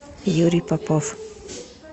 юрий попов